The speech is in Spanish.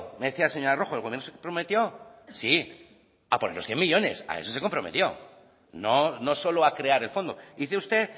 decía la señora rojo sí a poner los cien millónes a eso se comprometió no solo a crear el fondo dice usted